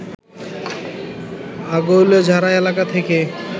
আগৈলঝাড়া এলাকা থেকে